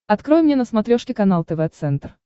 открой мне на смотрешке канал тв центр